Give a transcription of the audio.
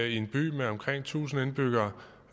i en by med omkring tusind indbyggere